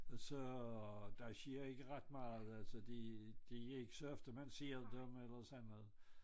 Så der sker ikke ret meget altså det et ikke så ofte man ser dem eller sådan noget